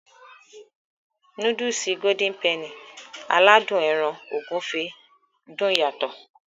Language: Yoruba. Núdùùsì "Golden Penny" aládùn ẹran ògúfe dùn yàtọ̀.